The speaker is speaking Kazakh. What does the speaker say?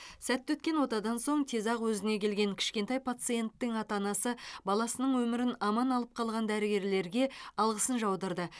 сәтті өткен отадан соң тез ақ өзіне келген кішкентай пациенттің ата анасы баласының өмірін аман алып қалған дәрігерлерге алғысын жаудырды